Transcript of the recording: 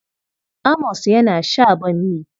Amos yana sha bammi.